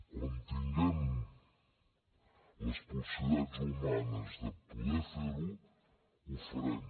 quan tinguem les possibilitats humanes de poder fer ho ho farem